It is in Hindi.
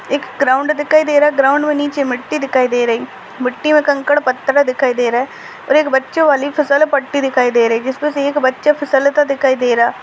एक ग्राउंड दिखाई दे रहा है ग्राउंड व नीचे मट्ठी दिखाई दे रही है मट्ठी मे कंखड पत्थर दिखाई दे रहे और बच्चो वाली फसलपट्टी दिखाई दे रही है जिसमे से एक बच्चा फिसलता दिखाई दे रहा --